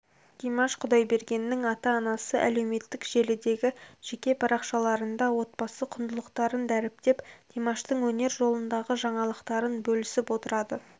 димаш құдайбергеннің ата-анасы әлеуметтік желідегі жеке парақшаларында отбасы құндылықтарын дәріптеп димаштың өнер жолындағы жаңалықтарын бөлісіп отырады